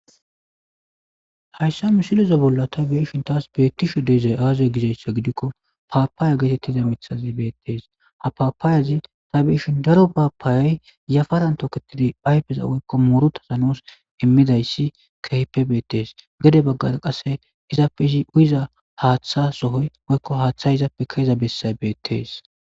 hayssa musiloza bolla ta beeshin taas beettisho deezay aaza gizayssa gidikko paapaaya geetettiza mithazi beettees ha paapaayazi ta beeshin daro baapaayay yafaran tooketidi aypeza woykko moorota sanos immidayssi kahpe beettees gede baggara qasse izaafezi uyiza haaththa sohoy woykko haaththay izaappe kaeza bessay beettees